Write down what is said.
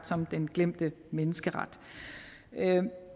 som den glemte menneskeret